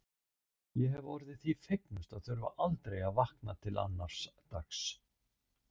Ég hefði orðið því fegnust að þurfa aldrei að vakna til annars dags.